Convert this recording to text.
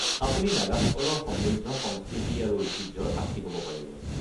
আপুনি নাগাসকলৰ সমৃদ্ধ সংস্কৃতি আৰু ঐতিহ্যৰ সাক্ষী হ'ব পাৰিব।